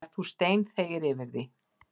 En þú steinþegir yfir því.